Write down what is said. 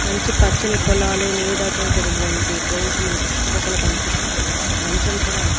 మంచి పచ్చని పొలాలు నీడతో కూడినటువంటి ప్రదేశం మనకు చుట్టుపక్కల కనిపిస్తున్న ఒక మంచం కూడా--